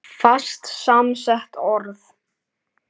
Fast samsett orð